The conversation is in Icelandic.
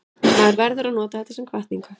Maður verður að nota þetta sem hvatningu.